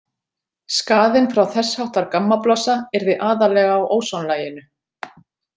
Skaðinn frá þess háttar gammablossa yrði aðallega á ósonlaginu.